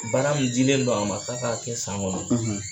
Baara min dilen don a ma k'a k'a kɛ san kɔnɔ